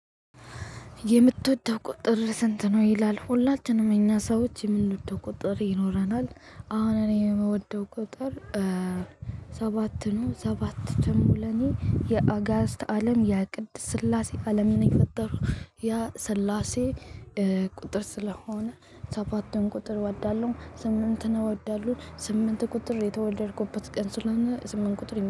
የምትወደው ቁጥር ስንት ነው? ይላል ሁላችንም እኛ ሰዎች የምንወደው ቁጥር ይኖረናል አሁን እኔ የምወደው ቁጥር ሰባት ነው። ሰባት ደሞ ለኔ የአጋዝት አለም የቅድስት ስላሴ አለምን የፈጠሩ ያ ስላሴ። ቁጥር ስለሆነ ሰባትን ቁጥር እወዳለሁ። ስምንት ነው እወዳለሁ ስምንት ቁጥር የተወለድኩበት ቀን ስለሆነ ስምንት ቁጥር